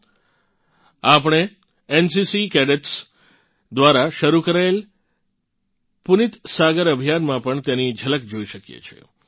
આપણે NCC cadets NCC cadets દ્વારા શરૂ કરાયેલ પુનીત સાગર અભિયાનમાં પણ તેની ઝલક જોઇ શકીએ છીએ